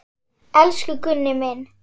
Elsku Gunni minn.